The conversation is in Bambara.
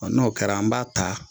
n'o kɛra an b'a ta